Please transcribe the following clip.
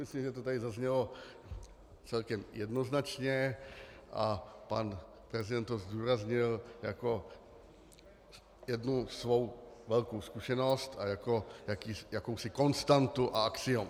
Myslím, že to tady zaznělo celkem jednoznačně, a pan prezident to zdůraznil jako jednu svou velkou zkušenost a jako jakousi konstantu a axiom.